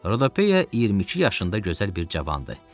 Rodopeya 22 yaşında gözəl bir cavandı.